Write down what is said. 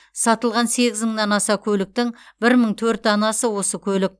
сатылған сегіз мыңнан аса көліктің бір мың төрт данасы осы көлік